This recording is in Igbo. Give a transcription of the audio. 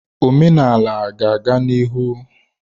Omenala ga-aga n'ihu.